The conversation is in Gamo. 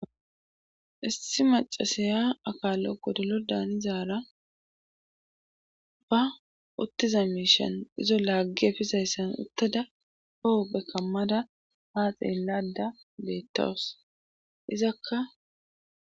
issi macasaya akaallo godolo daanizaara ba uttiza miishan izo laaggi efizayssan uttada hohoppe kammada ha xeellada beettowus izakka